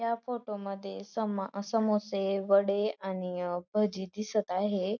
या फोटो मध्ये समा समोसे वडे आणि भाजी दिसत आहे.